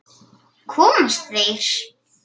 Komast þeir???